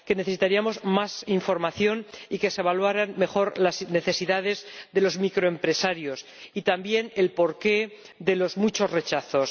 Necesitaríamos más información y que se evaluaran mejor las necesidades de los microempresarios, así como el porqué de los muchos rechazos.